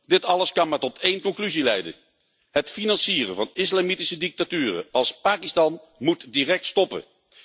Dit alles kan maar tot één conclusie leiden het financieren van islamitische dictaturen als Pakistan moet direct stoppen.